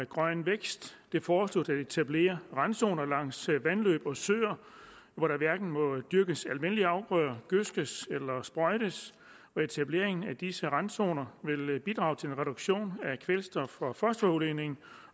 grøn vækst det foreslås at etablere randzoner langs vandløb og søer hvor der hverken må dyrkes almindelige afgrøder gødskes eller sprøjtes og etableringen af disse randzoner vil bidrage til en reduktion af kvælstof og fosforudledningen